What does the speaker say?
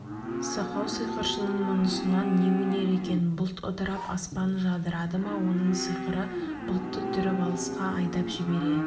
сақау сиқыршының мұнысынан не өнер екен бұлт ыдырап аспан жадырады ма оның сиқыры бұлтты түріп алысқа айдап жібере